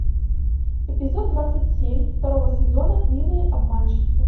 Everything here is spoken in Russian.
эпизод двадцать семь второго сезона милые обманщицы